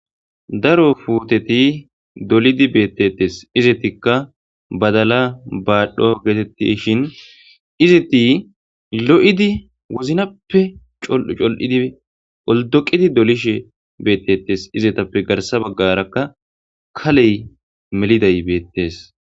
Daro putteti dolidi betetes izetika badala badho getetishin izeti loidi wozinappe col'u col'udi oldoqidi dolishe betetes izetuppe garsa bagara kale meliday betes